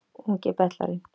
Ungi betlarinn